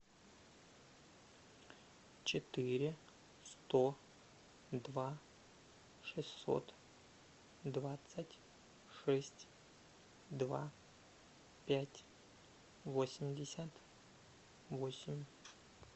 четыре сто два шестьсот двадцать шесть два пять восемьдесят восемь